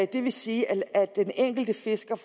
det vil sige at den enkelte fisker